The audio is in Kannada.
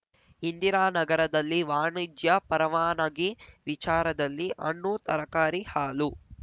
ಇಂದಿರಾನಗರದಲ್ಲಿ ವಾಣಿಜ್ಯ ಪರವಾನಗಿ ವಿಚಾರದಲ್ಲಿ ಹಣ್ಣು ತರಕಾರಿ ಹಾಲು